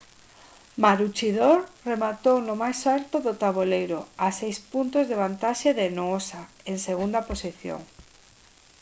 maroochydore rematou no máis alto do taboleiro a seis puntos de vantaxe de noosa en segunda posición